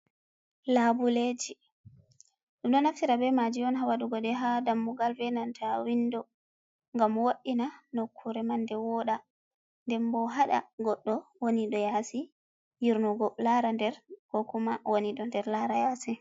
Labuleji dum do naftira be maji on ha waɗugo de ha dammugal, enanta windo. Gam woddina nokkure man de woda den bo hada goddo woni do yasi yirnugo, lara nder kokuma woni do nder lara yasi.